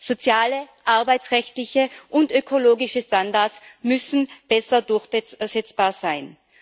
Soziale, arbeitsrechtliche und ökologische Standards müssen besser durchsetzbar sein.